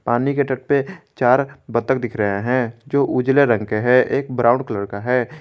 पानी के तट पे चार बत्तख दिख रहे हैं जो उजले रंग के है एक ब्राउन कलर का है।